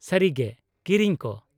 -ᱥᱟᱹᱨᱤᱜᱮ ? ᱠᱤᱨᱤᱧ ᱠᱚ ?